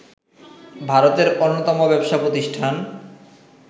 ভারতের অন্যতম ব্যবসা প্রতিষ্ঠান